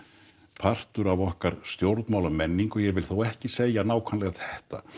partur af okkar stjórnmálamenningu ég vil þó ekki segja nákvæmlega þetta